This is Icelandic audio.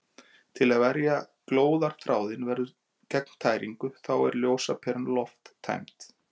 Til að verja glóðarþráðinn gegn tæringu þá er ljósaperan lofttæmd.